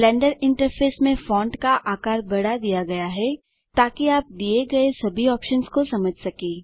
blender interface में font का आकार बढ़ा दिया गया है ताकि आप दिए गए सभी ऑप्शन्स को समझ सकें